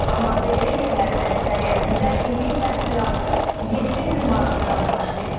Amma belə yerlərin əksəriyyətində illik təhsil haqqı 7000 manatdan başlayır.